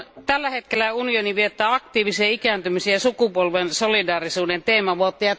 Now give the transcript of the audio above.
Tällä hetkellä unioni viettää aktiivisen ikääntymisen ja sukupolven solidaarisuuden teemavuotta.